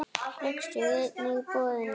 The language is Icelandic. Rekstur einnig boðinn út.